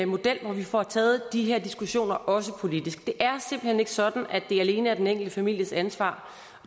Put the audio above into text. model hvor vi får taget de her diskussioner også politisk det er hen ikke sådan at det alene er den enkelte families ansvar